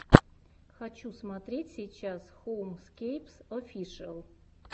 хочу смотреть сейчас хоумскейпс офишиал